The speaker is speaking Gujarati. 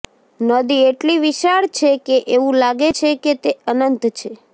નદી એટલી વિશાળ છે કે એવું લાગે છે કે તે અનંત છે